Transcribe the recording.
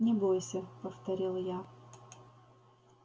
не бойся повторил я